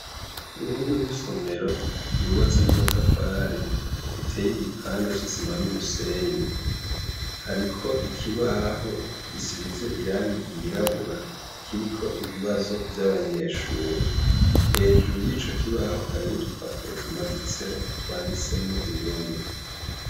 Kuruhome rw' isomero rw ubatswe n amatafari, ritey' igipande c'isima n' umusenyi, hariko ikibaho gisiz' irangi ryirabura kirik' ibibazo vy'abanyeshure, hejuru yico kibaho har 'udupapuro tumaditseho twanditsek' indome.